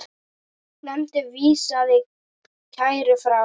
Nefndin vísaði kærunni frá.